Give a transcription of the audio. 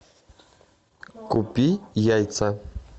купи яйца